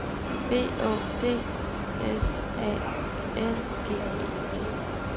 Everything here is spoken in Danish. B Å D S A L G E T